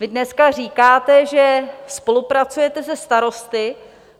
Vy dneska říkáte, že spolupracujete se starosty.